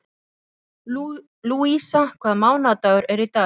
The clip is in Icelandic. Lúísa, hvaða mánaðardagur er í dag?